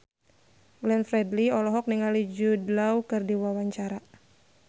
Glenn Fredly olohok ningali Jude Law keur diwawancara